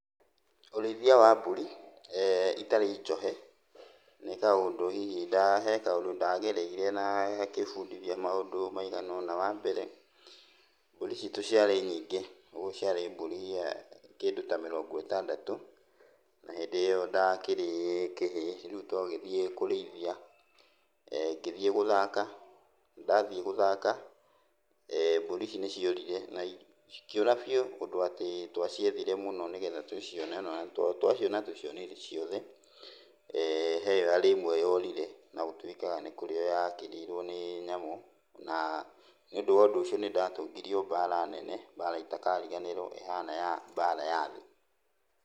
Ũrĩithia wa mbũri itarĩ njohe, nĩ kaũndũ hihi nda he kaũndũ ndagereire na gakĩbundithia maũndũ maigana ũna. Wambere, mbũri citũ ciarĩ nyingĩ, ũguo ciarĩ mbũri kĩndũ ta mĩrongo ĩtandatũ, na hĩndĩ ĩyo ndakĩrĩ kĩhĩĩ. Rĩu twagĩthiĩ kũrĩithia, ngĩthiĩ gũthaka, ndathiĩ gũthaka, mbũri ici nĩciorire na cikĩũra biũ ũndũ atĩ twaciethire mũno nĩgetha tũcione, na twaciona tũtiacionire ciothe, he harĩ ĩmwe yorire, na gũtuĩkaga nĩkũrio yakĩrĩirwo nĩ nyamũ, na nĩũndũ wa ũndũ ũcio nĩndatũngirio mbara nene, mbara itakariganĩrwo ĩhana ya mbara ya thĩ.